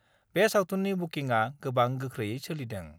बे सावथुननि बुकिंआ गोबां गोख्रैयै सोलिदों।